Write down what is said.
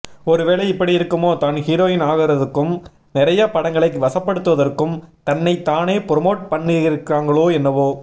ஒரு வேள இப்படி இருக்குமோ தான் ஹீரோயின் ஆகறதுக்கும் நெறைய படங்களை வசப்படுத்துறதுக்கும் தன்னைத் தானே புரொமோட் பண்ணிக்கிறாங்களோ என்னவோ